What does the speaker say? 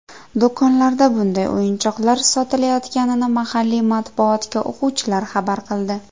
Do‘konlarda bunday o‘yinchoqlar sotilayotganini mahalliy matbuotga o‘quvchilar xabar qildi.